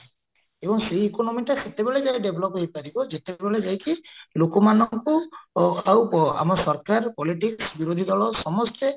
ଏବଂ ସେଇ economyଟା ସେତେବେଳେ ଯାଏ develop ହେଇପାରିବ ଯେତେବେଳେ ଯାଇକି ଲୋକମାନଙ୍କୁ ଆଉ ଆମ ସରକାର politics ବିରୋଧୀ ଦଳ ସମସ୍ତେ